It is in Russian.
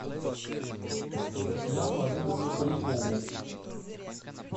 татьяну олеговну полякову